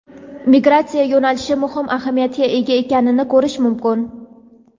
migratsiya yo‘nalishi muhim ahamiyatga ega ekanini ko‘rish mumkin.